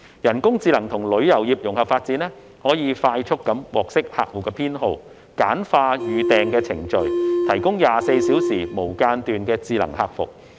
人工智能與旅遊業融合發展，可以快速獲悉客戶偏好，簡化預訂過程，提供24小時無間斷智能客服。